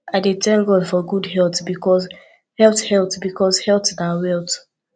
i dey tank god for gud health bikos health health bikos health na wealth